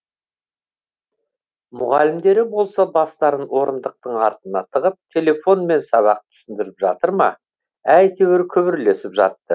мұғалімдері болса бастарын орындықтың артына тығып телефонмен сабақ түсіндіріп жатыр ма әйтеуір күбірлесіп жатты